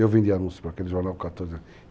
Eu vendi anúncios para aquele jornal com 14 anos.